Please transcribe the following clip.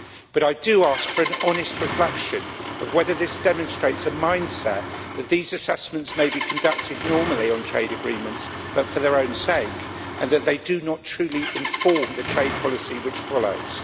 But I do ask for an honest reflection of whether this demonstrates a mind set that these assessments may be conducted normally on trade agreements, but for their own sake, and that they do not truly inform the trade policy which follows.